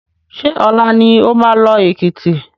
Ṣé ọ̀la ni oma lọ Èkìtì?